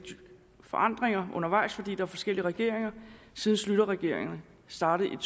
forandringer undervejs fordi der forskellige regeringer siden schlüterregeringerne startede